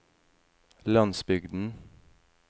landsbygden